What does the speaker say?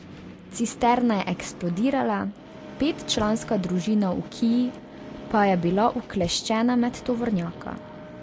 Cisterna je eksplodirala, petčlanska družina v kii pa je bila ukleščena med tovornjaka.